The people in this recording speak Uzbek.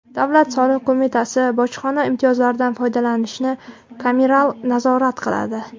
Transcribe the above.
Davlat soliq qo‘mitasi bojxona imtiyozlaridan foydalanilishini kameral nazorat qiladi.